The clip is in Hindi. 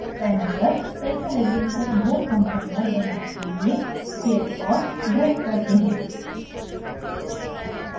panel पर cyclohexane का boat conformer बनाने के लिए click और drag करते हैं